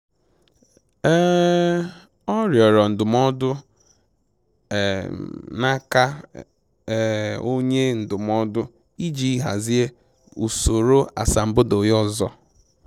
um Ọ rịọrọ ndụmọdụ um na aka um onye ndụmọdụ iji hazie usoro asambodo ya ọzọ